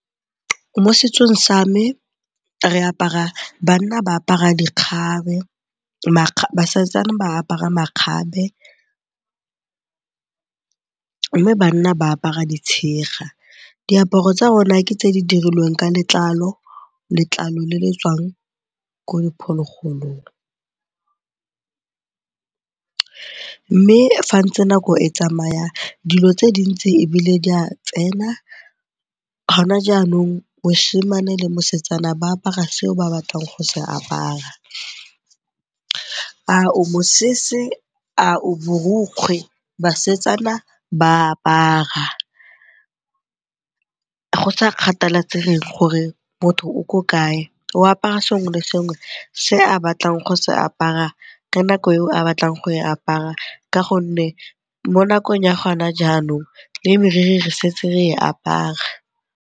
Mo setsong sa me basetsana ba apara makgabe mme banna ba apara ditshega. Diaparo tsa rona ke tse di dirilweng ka letlalo, letlalo le le tswang ko diphologolong. Mme fa ntse nako e tsamaya, dilo tse dintsi ebile di a tsena, gona jaanong mosimane le mosetsana ba apara seo ba batlang go se apara, a o mosese, a o borokgwe basetsana ba a apara. Go sa kgathalasege gore motho o ko kae o apara sengwe le sengwe se a batlang go se apara ka nako eo a batlang go e apara ka gonne mo nakong ya gona jaanong, le moriri re setse re e apara.